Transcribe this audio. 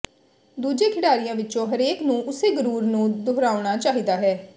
ਦੂਜੇ ਖਿਡਾਰੀਆਂ ਵਿੱਚੋਂ ਹਰੇਕ ਨੂੰ ਉਸੇ ਗੁਰੁਰ ਨੂੰ ਦੁਹਰਾਉਣਾ ਚਾਹੀਦਾ ਹੈ